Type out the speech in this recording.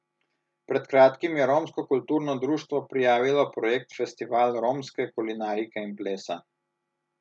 Pred kratkim je Romsko kulturno društvo prijavilo projekt Festival romske kulinarike in plesa.